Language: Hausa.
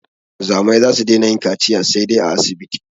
Wanzamai za su daina yin kaciya saidai a asibiti